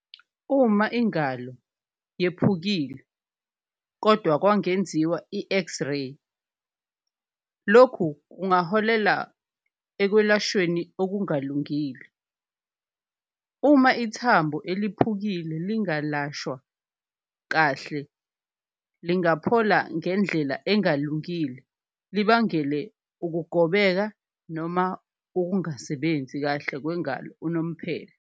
Uma ingalo yephukile kodwa kwangenziwa i-X-ray lokhu kungaholela ekwelashweni okungalungile, uma ithambo eliphukile lingalashwa kahle lingaphola ngendlela engalungile, libangele ukugobeka noma ukungasebenzi kahle kwengalo unomphela.